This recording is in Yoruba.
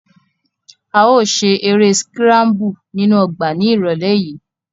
A yóò ṣe ere sikrambu ninu ọgba ni irọlẹ yii.